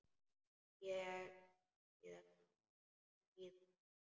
Ég þekki þessa líðan.